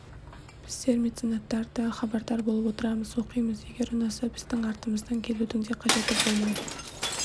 біздер меценаттар да хабардар болып отырамыз оқимыз егер ұнаса біздің артымыздан келудің де қажеті болмай